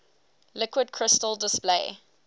liquid crystal display